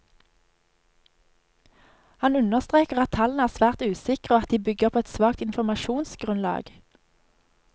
Han understreker at tallene er svært usikre og at de bygger på et svakt informasjonsgrunnlag.